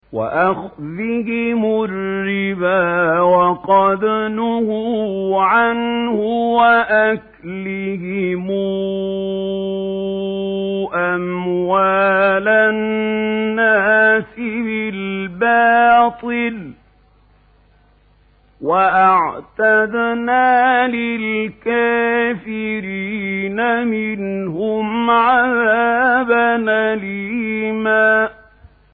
وَأَخْذِهِمُ الرِّبَا وَقَدْ نُهُوا عَنْهُ وَأَكْلِهِمْ أَمْوَالَ النَّاسِ بِالْبَاطِلِ ۚ وَأَعْتَدْنَا لِلْكَافِرِينَ مِنْهُمْ عَذَابًا أَلِيمًا